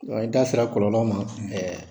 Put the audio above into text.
I da sera kɔlɔlɔ ma ɛɛ